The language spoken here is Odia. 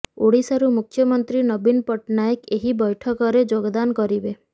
ଓଡ଼ିଶାରୁ ମୁଖ୍ୟମନ୍ତ୍ରୀ ନବୀନ ପଟ୍ଟନାୟକ ଏହି ବୈଠକରେ ଯୋଗଦାନ କରିବେ